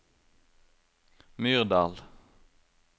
Myrdal